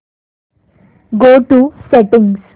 go to settings